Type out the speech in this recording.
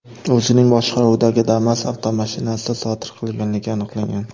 o‘zining boshqaruvidagi Damas avtomashinasida sodir qilganligi aniqlangan.